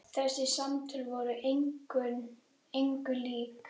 Þessi samtöl voru engu lík.